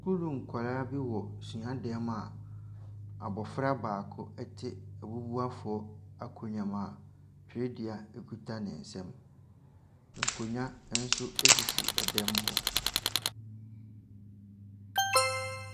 Sukuu nkwadaa bi wɔ suadan mu a abɔfra baako te abubuafoɔ akonnwa mu a twerɛdua kita ne nsam. Nkonnwa nso sisi ɛdan mu hɔ.